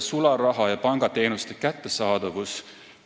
Sularaha ja pangateenuste kättesaadavus.